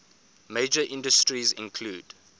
major industries include